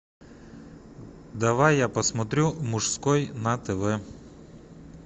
давай я посмотрю мужской на тв